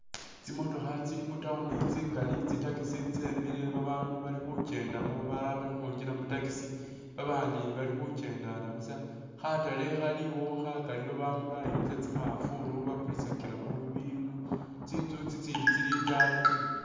Tsimotookha tsili mu town tsingali, tsi taxi tsemile, babandu bali khukyendamo balala bali ukhwingila mu taxi, babandi bali khukyendana busa ,khatale khaliwo khakali, babandu bayimisa tsimafulu bakulisakilamo bibinu ,tsinzu tsitsindi tsili itaayi tsingali